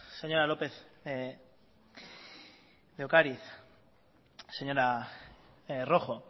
señora lópez de ocariz señora rojo